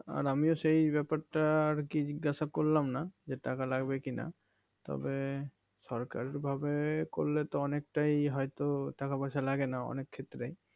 আর আমিও সেই ব্যাপারটা আর কি জিজ্ঞাসা করলাম না যে টাকা লাগবে কিনা তবে সরকারি ভাবে করলে তো অনেকটাই হয়তো টাকা পয়সা লাগেনা অনেক ক্ষেত্রে